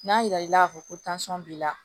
N'a jira i la k'a fɔ ko tansiyɔn b'i la